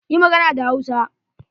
Yi magana da Hausa!